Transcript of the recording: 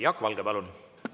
Jaak Valge, palun!